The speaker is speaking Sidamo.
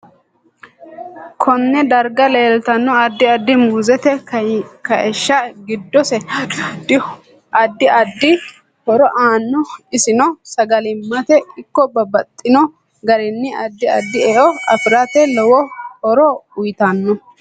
Konne darga leeltanno addi addi muuzete kayiishi giddose addi addi horo aano isenno sagalimate ikko babbaxino garinni addi addi e'o afirate lowo horo uyiitanno